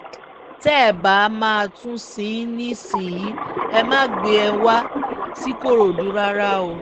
tẹ́ ẹ bá máa tún un sìn nísìyìí ẹ má gbé e wá ṣikòròdú rárá o